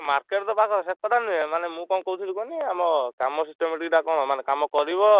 Market ତ ପାଖରେ ସେକଥା ନୁହେଁ ମାନେ ମୁ ଙ୍କ କହୁଥିଲି କହନୀ ଆମ କାମ systematic ଟା କଣ ମାନେ କାମ କରିବ